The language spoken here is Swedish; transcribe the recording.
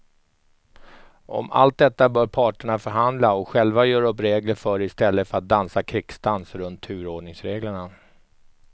Om allt detta bör parterna förhandla och själva göra upp regler för i stället för att dansa krigsdans runt turordningsreglerna.